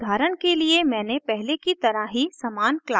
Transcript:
यहाँ उदाहरण के लिए मैंने पहले की तरह ही समान क्लास ली है